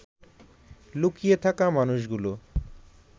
লুকিয়ে থাকা মানুষগুলো